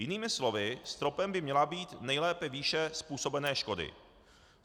Jinými slovy stropem by měla být nejlépe výše způsobené škody.